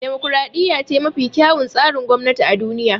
Demokaraɗiya ce mafi kyawun tsarin gwamnati a duniya